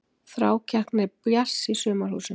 Þrákelkni Bjarts í Sumarhúsum